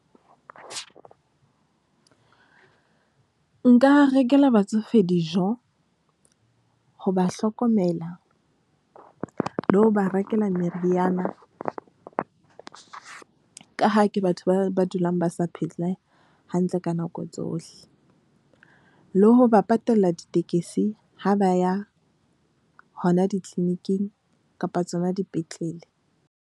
Nka rekela batsofe dijo ho ba hlokomela le ho ba rekela meriana, ka ha ke batho ba dulang ba sa phela hantle ka nako tsohle. Le ho ba patalla ditekesi ha ba ya hona di-clinic-ing kapa tsona dipetlele.